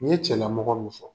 Ni n ye cɛlamɔgɔ min fɔ